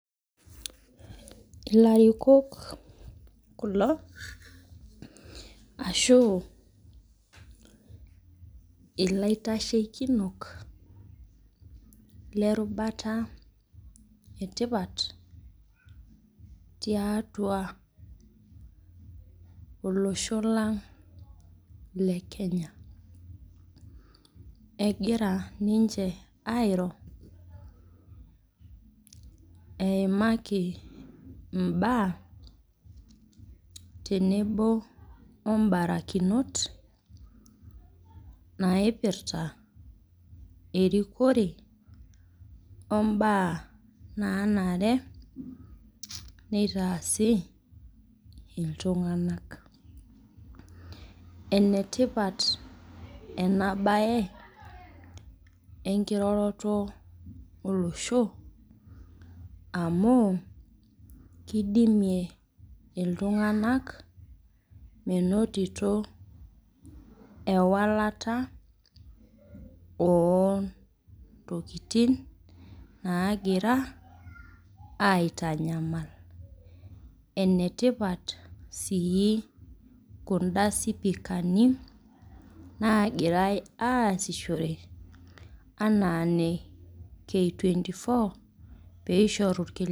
Ilarikok kulo ashu ilaitashekino lerubata etipat tiatua olosho lang' le Kenya. Egira ninche airo, eimaki imbaa tenebo obarakinot naipirta erikore ombaa nanare neitaasi iltung'anak. Enetipat enabae enkiroroto olosho amu, kidimie iltung'anak menotito ewalata ontokiting nagira aitanyamal. Enetipat si kunda sipikani, nagirai aasishore anaa ne K24,peishoru irkiliku.